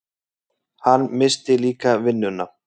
Hann missti líka vinnuna.